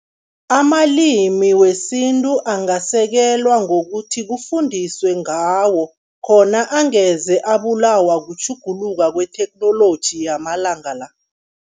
Amalimi wesintu angasekelwa ngokuthi kufundiswe ngawo, khona angeze abulawa kutjhuguluka kwetheknoloji yamalanga la.